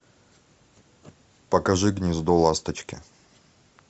покажи гнездо ласточки